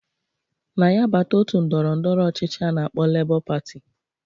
Na ya bata otu ndọrọ ndọrọ ọchịchị a na-akpọ Lebọ Patị